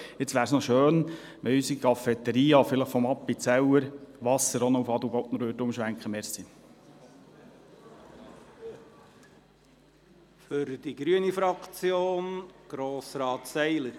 Es wäre noch schön, wenn unsere Cafeteria vom Appenzeller zum Adelbodner Wasser umschwenkte.